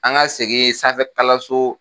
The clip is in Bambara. An ka segin sanfɛ kalanso